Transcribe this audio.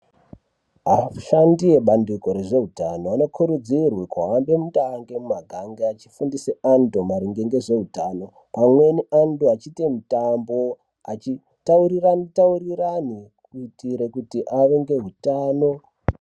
Vashandi vebandiko rezveutano vanokurudzirwe kunga vari hande mutande muma gange vachofundise vandu maringe nezveutano pamweni andu achiite mutambo achitaurirana mutaurirano kuitire kuti ave ngeutano.